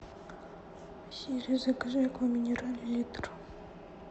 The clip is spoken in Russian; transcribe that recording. сири закажи аква минерале литр